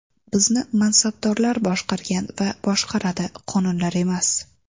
Bizni mansabdorlar boshqargan va boshqaradi, qonunlar emas”.